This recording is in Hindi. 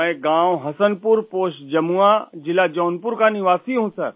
मैं गाँव हसनपुर पोस्ट जमुआ ज़िला जौनपुर का निवासी हूँ सर